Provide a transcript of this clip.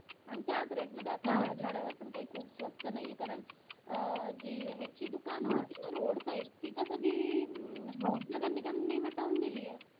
आणि त्याच rate मध्ये राजवाड्यावर काय स्वस्त नाहीये कारण अह जी जितकी दुकान होती ना road side ती तर सगळी निकम नि हटवून दिलेय.